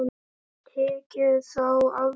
Tekið þá af mér.